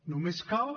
només cal